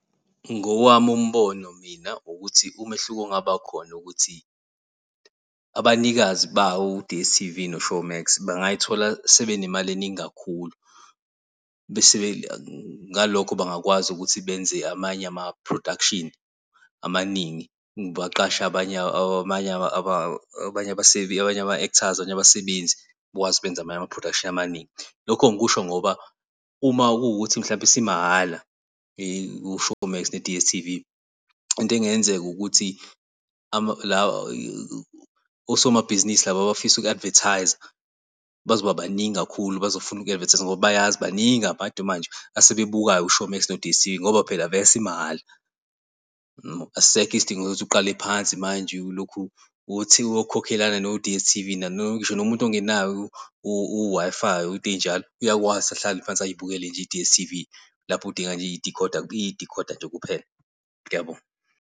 Ngowami umbono mina ukuthi umehluko ongabakhona ukuthi abanikazi bawo u-D_S_T_V no-Showmax bangayithola sebe nemali eningi kakhulu bese ngalokho bangakwazi ukuthi benze amanye ama-production amaningi baqashe abanye abasebenzi abanye ama-actors, abanye abasebenzi bakwazi ukwenza amanye ama-production amaningi. Lokho ngikusho ngoba uma kuwukuthi mhlawumbe isimahhala i-showmax ne-D_S_T_V into engenzeka ukuthi osomabhizinisi laba abafisa uku-advertiser bazoba, baningi kakhulu, bazofuna uku-advertis-a ngoba bayazi baningi abantu manje asebebukayo u-Showmax no-D_S_T_V ngoba phela vese isimahhala. Yabo? Asisekho isidingo sokuthi uqale phansi manje ulokhu uthi uyokhokhela no-D_S_T_V ngisho muntu ongenayo u-Wi-Fi into ey'njalo, uyakwazi ahlale phansi, ayibukele nje i-D_S_T_V lapho udinga , udinga idekhoda nje, kuphela. Ngiyabonga.